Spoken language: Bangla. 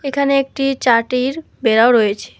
এখানে একটি চাটির বেড়াও রয়েছে।